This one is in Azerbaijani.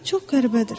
Çox qəribədir.